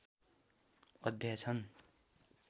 अध्याय छन्।